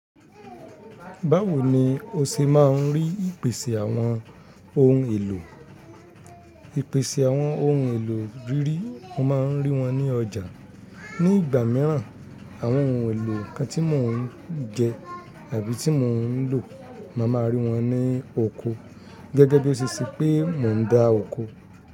Báwo ni o ṣe máa ń rí ìpèsè àwọn ohun èlò? Ìpèsè àwọn ohun èlò rírí, mo máa ń rí wọn ní ọjà. Ní ìgbà mìíràn, àwọn ohun èlò kan tí mò ń jẹ àbí tí mò ń lò, màá máa rí wọn ní oko. Gẹ́gẹ́ bí ó ṣe ṣẹ́ pé mò ń dá oko.